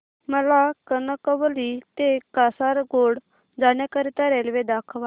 मला कणकवली ते कासारगोड जाण्या करीता रेल्वे दाखवा